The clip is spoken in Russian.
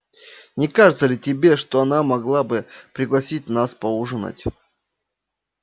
не кажется ли тебе что она могла бы пригласить нас поужинать